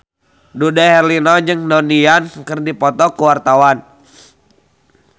Dude Herlino jeung Donnie Yan keur dipoto ku wartawan